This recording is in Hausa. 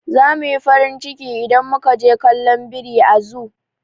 Za muyi farin ciki idan muka je kallon biri a zoo.